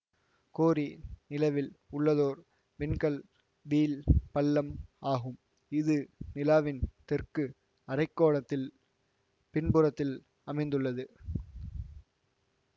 கோரி நிலவில் உள்ளதோர் விண்கல் வீழ் பள்ளம் ஆகும் இது நிலாவின் தெற்கு அரை கோளத்தில் பின்புறத்தில் அமைந்துள்ளது